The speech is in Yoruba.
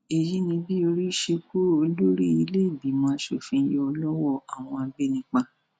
èyí ni bí orí ṣe kó olórí ìlẹẹgbìmọ asòfin yọ lọwọ àwọn agbanipa